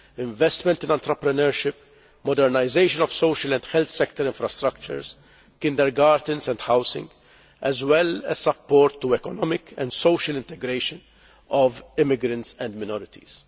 investment in entrepreneurship, modernisation of social and health sector infrastructures, kindergartens and housing, as well as support for the economic and social integration of immigrants and minorities.